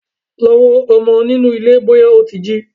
Lọ wo ọmọ nínú ilé bọ́yá ó ti jí!